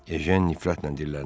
Ejen nifrətlə dilləndi.